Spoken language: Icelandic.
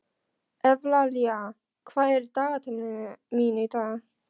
Evlalía, hvað er á dagatalinu mínu í dag?